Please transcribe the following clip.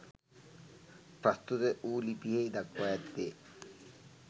ප්‍රස්තුත වු ලිපියෙහි දක්වා ඇත්තේ